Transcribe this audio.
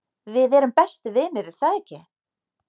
við erum bestu vinir er það ekki